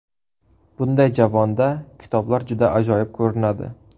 Bunday javonda kitoblar juda ajoyib ko‘rinadi.